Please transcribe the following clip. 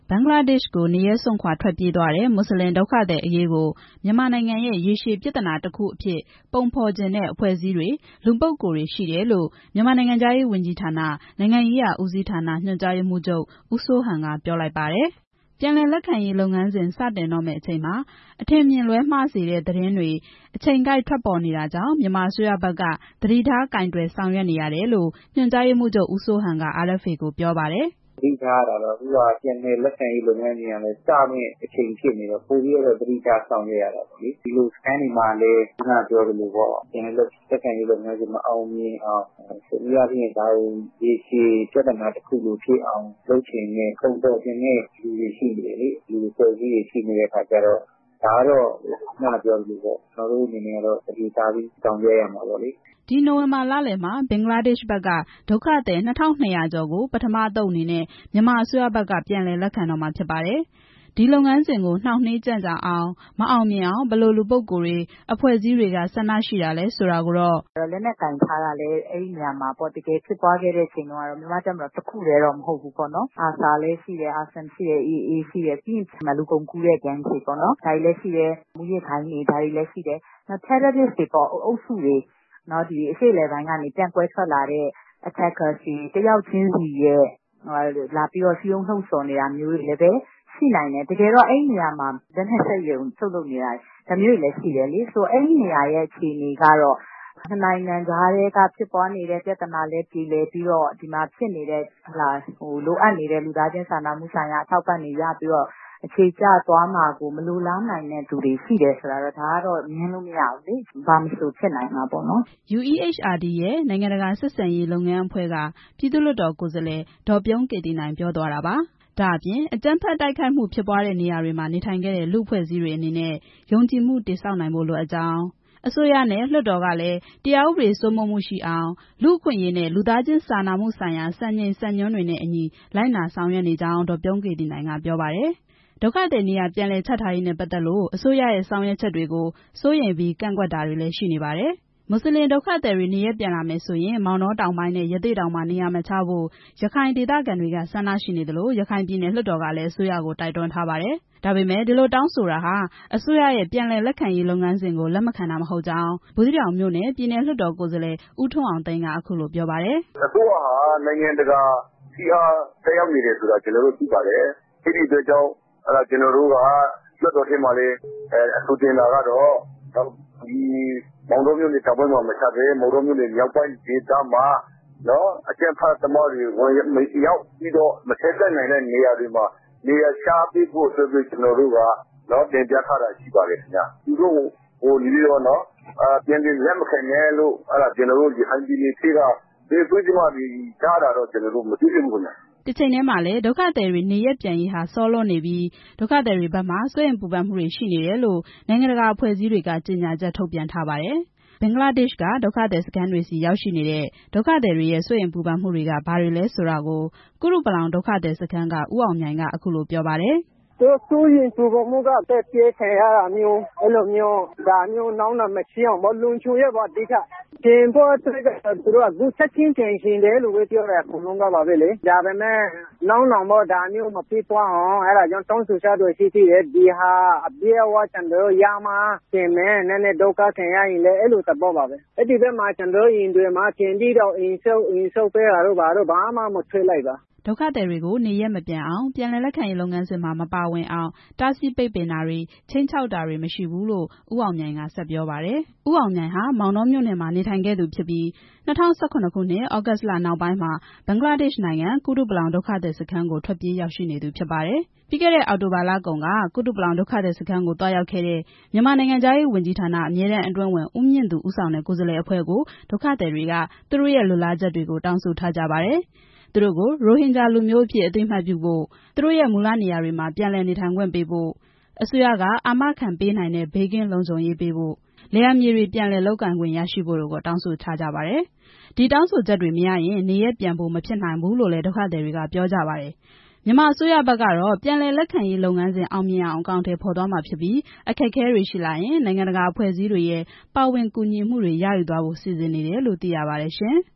ဘင်္ဂလားဒေ့ရှ်ကို နေရပ်စွန့်ခွာထွက်ပြေးသွားတဲ့ မွတ်စလင်ဒုက္ခသည်အရေးကို မြန်မာနိုင်ငံရဲ့ ရေရှည်ပြဿနာ တစ်ခုအဖြစ် ပုံဖော်ချင်တဲ့ အဖွဲ့အစည်းတွေ လူပုဂ္ဂိုလ်တွေရှိတယ်လို့ မြန်မာနိုင်ငံခြားရေးဝန်ကြီးဌာန နိုင်ငံရေးရာဦးစီးဌာန ညွှန်ကြားရေးမှူးချုပ် ဦးစိုးဟန် က ပြောလိုက်ပါတယ်။ ပြန်လည်လက်ခံရေးလုပ်ငန်းစဉ် စတင်တော့မယ့်အချိန်မှာ အထင်အမြင်လွဲမှားစေတဲ့ သတင်းတွေ အချိန်ကိုက် ထွက်ပေါ်နေတာကြောင့် မြန်မာအစိုးရဘက်က သတိထားကိုင်တွယ် ဆောင်ရွက်နေရတယ်လို့ ညွှန်ကြားရေးမှူးချုပ် ဦးစိုးဟန် က RFA ကို အခုလိုပြောပါတယ်။ "သတိထားရတာတော့ အခုက ပြန်လည်လက်ခံရေးလုပ်ငန်းစဉ်က စမယ့်အချိန်ဖြစ်နေတော့ ပိုပြီးတော့ သတိထားဆောင်ရွက်ရတာပေါ့။ ဒီလိုစခန်းတွေမှာလည်း ပြန်လည်လက်ခံရေးလုပ်ငန်းစဉ် မအောင်မြင်အောင် တနည်းအားဖြင့် ဒါကို ရေရှည်ပြဿနာတစ်ခုလိုဖြစ်အောင် လုပ်ချင်တဲ့ ပုံဖော်ချင်တဲ့ အဖွဲ့အစည်းတွေ လူတွေရှိနေတဲ့အခါကျတော့ ကျနော်တို့အနေနဲ့ သတိထားပြီး ဆောင်ရွက်ရမှာပေါ့" နိုဝင်ဘာလလယ်မှာ ဘင်္ဂလားဒေ့ရှ်ဘက်က ဒုက္ခသည် ၂၂၀၀ ကျော်ကို ပထမအသုတ်အနေနဲ့ မြန်မာအစိုးရဘက်က ပြန်လည်လက်ခံတော့မှာ ဖြစ်ပါတယ်။ ဒီလုပ်ငန်းစဉ်ကို နှောင့်နှေးကြန့်ကြာအောင် မအောင်မြင်အောင် ဘယ်လိုလူပုဂ္ဂိုလ်တွေ အဖွဲ့အစည်းတွေက ဆန္ဒရှိတာလဲဆိုတာကိုတော့ "အဲဒီနေရာမှာ တကယ်ဖြစ်ပွားနေချိန်မှာ လက်နက်ကိုင်ထားတာက မြန်မာ့တပ်မတော်တစ်ခုတည်း မဟုတ်ဘူး။ အာဆာလည်းရှိတယ်၊ AA လည်းရှိတယ်၊ ပြီးရင် လူကုန်ကူးတဲ့ဂိုဏ်းတွေ၊ မူးယစ်ဂိုဏ်းတွေလည်း ရှိတယ်။ တစ်ယောက်ချင်းစီရဲ့ စည်းရုံးလှုံ့ဆော်နေတာတွေလည်း ရှိနိုင်တယ်။ တကယ်တော့ အဲဒီနေရာမှာ လက်နက် ထုတ်လုပ်တဲ့စက်ရုံလည်းရှိတယ်။ အဲဒီနေရာရဲ့ အခြေအနေကတော့ နှစ်နိုင်ငံကြားက ဖြစ်ပွားနေတဲ့ ပြဿနာလည်း ပြေလည်ပြီး ဒီမှာ လိုအပ်နေတဲ့ လူသားချင်းစာနာမှုဆိုင်ရာ အထောက်အပံ့တွေရပြီး အခြေကျသွားမှာကို မလိုလားနိုင်တဲ့သူတွေရှိတယ်ဆိုတာ ငြင်းလို့မရဘူးလေ။ ဘာမဆိုဖြစ်နိုင်တာပေါ့နော်" UEHRD ရဲ့ ‘နိုင်ငံတကာဆက်ဆံရေး လုပ်ငန်းအဖွဲ့’ က ပြည်သူ့လွှတ်တော် ကိုယ်စားလှယ် ဒေါ်ပြုံးကေသီနိုင် ပြောသွားတာပါ။ ဒါ့အပြင် အကြမ်းဖက် တိုက်ခိုက်မှုဖြစ်ပွားတဲ့နေရာတွေမှာ နေထိုင်ခဲ့တဲ့ လူ့အဖွဲ့အစည်းတွေအနေနဲ့ ယုံကြည်မှု တည်ဆောက်နိုင်ဖို့ လိုအပ်ကြောင်း၊ အစိုးရနဲ့ လွှတ်တော်ကလည်း တရားဥပဒေစိုးမိုးမှုရှိအောင်၊ လူ့အခွင့်အရေးနဲ့ လူသားချင်းစာနာမှုဆိုင်ရာ စံချိန်စံညွှန်းတွေနဲ့အညီ လိုက်နာဆောင်ရွက်နေကြောင်း ဒေါ်ပြုံးကေသီနိုင် က ပြောပါတယ်။ ဒုက္ခသည် နေရာပြန်လည်ချထားရေးနဲ့ပတ်သက်လို့ အစိုးရရဲ့ ဆောင်ရွက်ချက်တွေကို စိုးရိမ်ပြီး ကန့်ကွက်တာတွေ လည်း ရှိနေပါတယ်။ မွတ်စလင်ဒုက္ခသည်တွေ နေရပ်ပြန်လာမယ်ဆိုရင် မောင်တော တောင်ပိုင်းနဲ့ ရသေ့တောင်မှာ နေရာမချဖို့ ရခိုင်ဒေသခံတွေက ဆန္ဒရှိနေသလို ရခိုင်ပြည်နယ် လွှတ်တော်ကလည်း အစိုးရကို တိုက်တွန်းထားပါတယ်။ ဒါပေမယ့် ဒီလိုတောင်းဆိုတာဟာ အစိုးရရဲ့ ပြန်လည်လက်ခံရေးလုပ်ငန်းစဉ်ကို လက်မခံတာမဟုတ်ကြောင်း ဘူးသီးတောင်မြို့နယ် ပြည်နယ်လွှတ်တော်ကိုယ်စားလှယ် ဦးထွန်းအောင်သိန်း က အခုလိုပြောပါတယ်။ "အစိုးရဟာ နိုင်ငံတကာ ဖိအား သက်ရောက်နေတယ်ဆိုတာ ကျနော်တို့ သိပါတယ်။ ဒါကြောင့် ကျနော်တို့က လွှတ်တော်ထဲမှာ အဆိုတင်တာကတော့ မောင်တောမြို့နယ် တောင်ပိုင်းမှာ နေရာမချဘဲ မောင်တောမြို့နယ် မြောက်ပိုင်းဒေသမှာ အကြမ်းဖက်သမားတွေ ဝင်ရောက်ပြီး မချဉ်းကပ်နိုင်တဲ့နေရာတွေမှာ နေရာချပေးဖို့ အတွက်ပဲ တင်ပြထားတာရှိပါတယ်။ သူတို့ကို ပြန်လက်မခံနဲ့လို့ ကျနော်တို့ ရခိုင်ပြည်နယ်ထဲက ဘယ်အဖွဲ့အစည်းကမှ တားတာမတေ့ွဘူးခင်ဗျ" တစ်ချိန်တည်းမှာလည်း ဒုက္ခသည်တွေ နေရပ်ပြန်ရေးဟာ စောလွန်းနေပြီး ဒုက္ခသည်တွေဘက်မှာ စိုးရိမ်ပူပန်မှုတွေ ရှိနေတယ်လို့ နိုင်ငံတကာအဖွဲ့အစည်းတွေကလည်း ကြေညာချက် ထုတ်ပြန်ထားပါတယ်။ ဘင်္ဂလားဒေ့ရှ်က ဒုက္ခသည်စခန်းတွေဆီ ရောက်ရှိနေတဲ့ ဒုက္ခသည်တွေရဲ့ စိုးရိမ်မှုတွေက ဘာတွေလဲဆိုတာကို ကုတုပလောင် ဒုက္ခသည်စခန်းက ဦးအောင်မြိုင် က အခုလိုပြောပါတယ်။ "စိုးရိမ်ပူပန်မှုက သတ်ပစ်ခံရတာမျိုး ဒါမျိုးနောက်နောင်မဖြစ်အောင်ပေါ့ အဓိကလုံခြုံရေးပေါ့။ ပြန်ဖို့အတွက် အကုန်လုံးက ချက်ချင်းပြန်ချင်တယ်ပဲ ပြောကြတယ်။ ဒါပေမဲ့ နောက်နောင်ဒါမျိုးမဖြစ်ပွားအောင် တောင်းဆို ထားတာတွေရှိတယ်။ ဒီဟာအပြည့်အ၀ ကျနော်တို့ ရမှ ပြန်မယ်၊ နည်းနည်းဒုက္ခခံရရင်လည်းလေ။ အဲဒီဘက်က ကျနော်တို့အိမ်တွေကို ပြန်ပြီးဆောက်ပေးတာတို့ ဘာတို့မတေ့ွရဘူး" ဒုက္ခသည်တွေကို နေရပ်မပြန်အောင် ပြန်လည်လက်ခံရေးလုပ်ငန်းစဉ်မှာ မပါဝင်အောင် တားဆီးပိတ်ပင်တာတွေ ခြိမ်းခြောက်တာတွေ မရှိဘူးလို့ ဦးအောင်မြိုင် က ဆက်ပြောပါတယ်။ ဦးအောင်မြိုင်ဟာ မောင်တောမြို့နယ်မှာ နေထိုင်သူဖြစ်ပြီး ၂၀၁၇ ခုနှစ် သြဂုတ်လနောက်ပိုင်းမှာ ဘင်္ဂလားဒေ့ရှ်နိုင်ငံ ကုတုပလောင် ဒုက္ခသည်စခန်းကို ထွက်ပြေးခိုလှုံနေသူဖြစ်ပါတယ်။ ပြီးခဲ့တဲ့ အောက်တိုဘာလကုန်က ကုတုပလောင် ဒုက္ခသည်စခန်းကို သွားရောက်ခဲ့တဲ့ မြန်မာနိုင်ငံခြားရေး ဝန်ကြီးဌာန အမြဲတမ်းအတွင်းဝန် ဦးမြင့်သူ ဦးဆောင်တဲ့ ကိုယ်စားလှယ်အဖွဲ့ကို ဒုက္ခသည်တွေက သူတို့ရဲ့ လိုလားချက်တွေကို တောင်းဆိုထားကြပါတယ်။ သူတို့ကို ရိုဟင်ဂျာ လူမျိုးအဖြစ် အသိအမှတ်ပြုဖို့၊ သူတို့ရဲ့ မူလနေရာတွေမှာ ပြန်လည်နေထိုင်ခွင့်ရဖို့၊ အစိုးရက အာမခံပေးနိုင်တဲ့ ဘေးကင်းလုံခြုံရေးရဖို့၊ လယ်ယာမြေတွေ ပြန်လည်လုပ်ကိုင်ခွင့်ရရှိဖို့ကို တောင်းဆို ထားကြပါတယ်။ ဒီတောင်းဆိုချက်တွေ မရရင် နေရပ်ပြန်ဖို့ မဖြစ်နိုင်ဘူးလို့လည်း ဒုက္ခသည်တွေက ပြောကြပါတယ်။ မြန်မာအစိုးရဘက်ကတော့ ပြန်လည်လက်ခံရေးလုပ်ငန်းစဉ် အောင်မြင်အောင် အကောင်အထည်ဖော်သွားမှာဖြစ်ပြီး အခက်အခဲတွေရှိလာရင် နိုင်ငံတကာအဖဲ့ွအစည်းတွေရဲ့ ပါဝင်ကူညီမှုတွေ ရယူသွားဖို့ စီစဉ်နေတယ်လို့ သိရပါတယ်ရှင်။